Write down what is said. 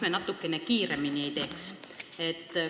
Miks natukene kiiremini ei saa?